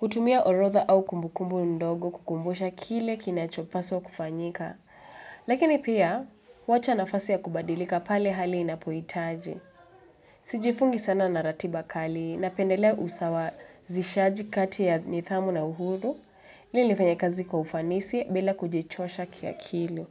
Hutumia orotha au kumbukumbu ndogo kukumbusha kile kinacho paswa kufanyika. Lakini pia, wacha nafasi ya kubadilika pale hali inapoitaji. Sijifungi sana na ratiba kali na pendelea usawa zishaji kati ya nithamu na uhuru Lili nifanya kazi kwa ufanisi bila kujichosha ki akili.